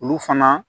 Olu fana